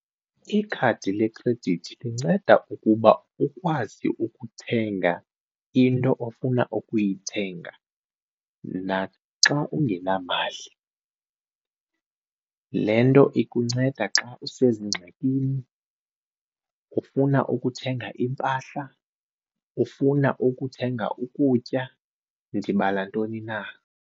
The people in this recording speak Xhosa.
Ikhadi lekhredithi linceda ukuba ukwazi ukuthenga into ofuna ukuyithenga naxa ungenamali. Le nto ikunceda xa usezingxakini ufuna ukuthenga iimpahla, ufuna ukuthenga ukutya, ndibala ntoni na.